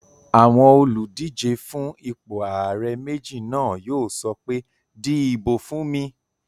Àwọn olùdíjé fún ipò ààrẹ méjì náà yóò sọ pé "di ìbò fún mi!"